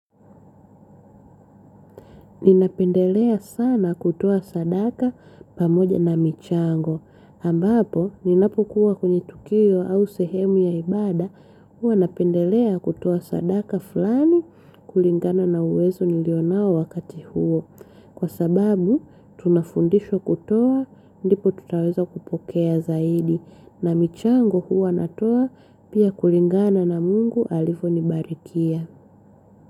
Ninapendelea sana kutoa sadaka pamoja na michango. Ambapo, ninapokuwa kwenye tukio au sehemu ya ibada, huwa napendelea kutoa sadaka fulani kulingana na uwezo nilio nao wakati huo. Kwa sababu tunafundishwa kutoa ndipo tutaweza kupokea zaidi na michango huwa natoa, pia kulingana na mungu alivyonibarikia.